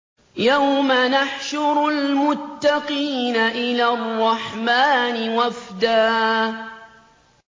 يَوْمَ نَحْشُرُ الْمُتَّقِينَ إِلَى الرَّحْمَٰنِ وَفْدًا